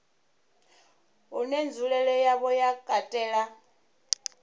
une nzulele yawo ya katela